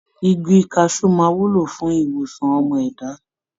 Igi kaṣú máa wúlò fún ìwòsàn ọmọ ẹ̀dá.